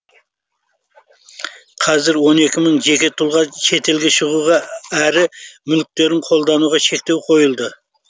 қазір он екі мың жеке тұлға шетелге шығуға әрі мүліктерін қолдануға шектеу қойылды